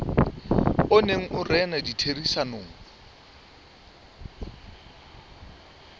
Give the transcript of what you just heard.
o neng o rena ditherisanong